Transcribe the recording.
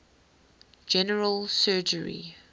general surgery